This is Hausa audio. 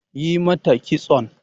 Yi mata kiston!